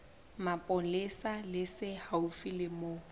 mapolesa se haufi le moo